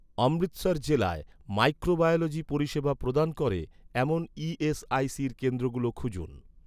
অমৃতসর জেলায় মাইক্রোবায়োলজি পরিষেবা প্রদান করে, এমন ই.এস.আই.সির কেন্দ্রগুলো খুঁজুন